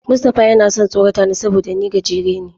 Mustapha yana son tsorata ni saboda ni gajere ne.